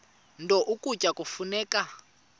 nto ukutya kufuneka